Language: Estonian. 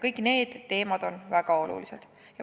Kõik need teemad on väga olulised.